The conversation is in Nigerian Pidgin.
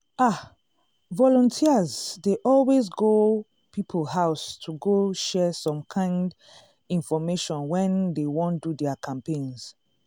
ah! volunteers dey always go people house to go share some kind infomation when dey wan do their campaigns.